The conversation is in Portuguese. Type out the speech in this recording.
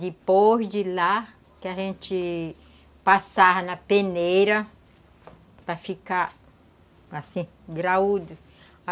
Depois de lá, que a gente passava na peneira para ficar assim, graúdo.